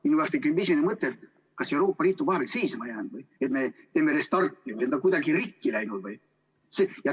Minu peas tekib esimene mõte, et kas Euroopa Liit on vahepeal seisma jäänud, et me teeme restardi, või on ta kuidagi rikki läinud.